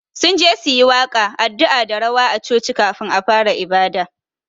Sunje su yi waƙa, addu'a da rawa a choci kafun a fara ibada